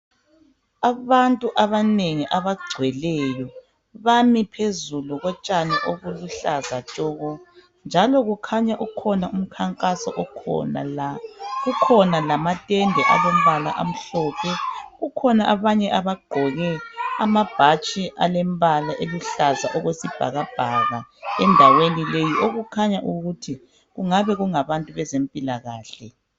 Abantu abanengi abagcweleyo bami phezulu kotshani obuluhlaza tshoko njalo kukhanya ukhona umkhankaso okhona la kukhona lamatende alompala amhlophe kukhona la abagqoke amabhatshi alempala elihlanza okwesibhakabhaka endaweni le okukhanya ukuthi kungabe kungabantu bezempilakahle.